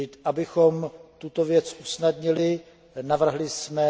Abychom tuto věc usnadnili, navrhli jsme